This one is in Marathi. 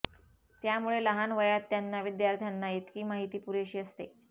त्यामुळे लहान वयात त्यांना विद्यार्थ्यांना इतकी माहिती पुरेशी असते